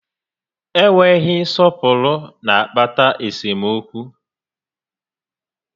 Enweghị nsọpụrụ na akpata esemokwu